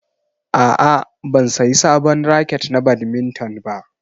A'a, ban sayi sabon raket na badminton ba.